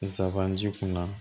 Nsaban ji kunna